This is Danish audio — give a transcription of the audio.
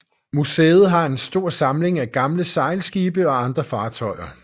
Museet har en stor samling af gamle sejlskibe og andre fartøjer